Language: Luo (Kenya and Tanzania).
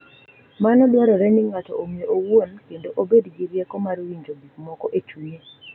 Mano dwaro ni ng’ato ong’e owuon kendo obed gi rieko mar winjo gik moko e chunye,